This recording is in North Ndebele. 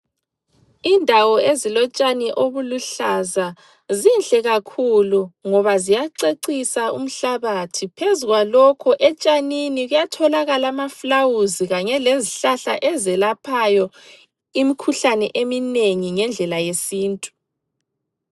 Indawo ezilotshani obuluhlaza zinhle kakhulu ngoba ziyacecisa umhlabathi, Phezu kwalokho etshanini kuyatholakala amaflawuzi kanye lezihlahla ezelaphayo imikhuhlane eminengi ngendlela yesintu.